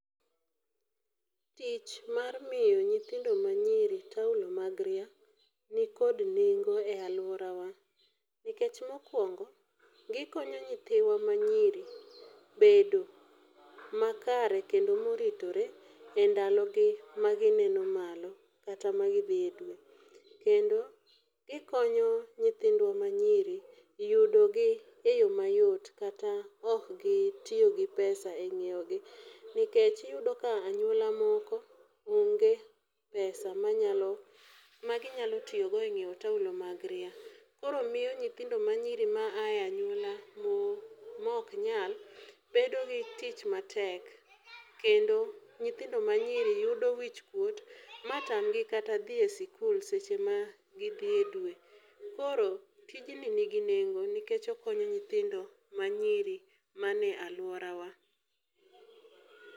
Tich mar miyo nyithindo manyiri taulo mag ria, nikod nengo e alworawa nikech mokwongo, gikonyo nyithiwa manyiri bedo makare kendo moritore e ndalogi magineno malo kata magidhi e dwe. Kendo gikonyo nyithindo manyiri yudogi e yo mayot kata okgitiyo gi pesa e ng'iewogi nikech iyudo ka anyuola moko onge pesa maginyalo tiyogo e ng'iewo taulo mag ria. Koro miyo nyithindo manyiri maaye anyuola moknyal bedo gi tich matek, kendo nyithindo manyiri yudo wichkuot matamgi kata dhi e sikul seche magidhi e dwe, koro tijni nigi nengo nikech okonyo nyithindo manyiri mane alworawa.